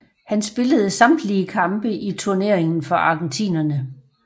Han spillede samtlige kampe i turneringen for argentinerne